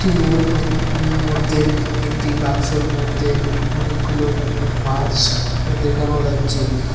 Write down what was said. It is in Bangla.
একটি রুমের হদ-মধ্যে একটি বাক্সোর মধ্যে অনেকগুলো মাছ দেখানো যাচ্ছে।